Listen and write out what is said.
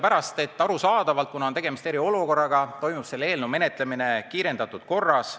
On arusaadav, et kuna tegemist on eriolukorraga, toimub selle eelnõu menetlemine kiirendatud korras.